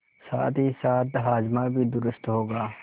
साथहीसाथ हाजमा भी दुरूस्त होगा